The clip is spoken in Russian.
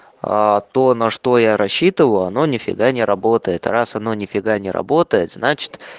аа то на что я рассчитываю оно нифига не работает а раз оно нифига не работает значит